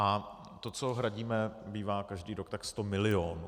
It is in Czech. A to, co hradíme, bývá každý rok tak 100 milionů.